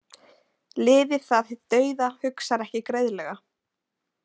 Liðið það hið dauða hugsar ekki greiðlega.